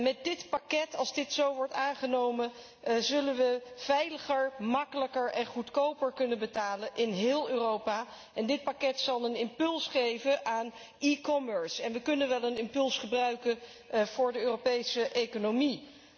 Met dit pakket, als dit zo wordt aangenomen, zullen wij veiliger, gemakkelijker en goedkoper kunnen betalen in heel Europa en dit pakket zal een impuls geven aan eCommerce. En wij kunnen wel een impuls gebruiken voor de Europese economie.